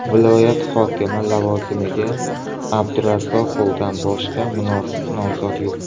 Viloyat hokimi lavozimga Abdurazzoqovdan boshqa munosib nomzod yo‘q”.